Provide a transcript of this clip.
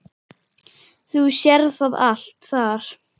Þú sérð það allt þar.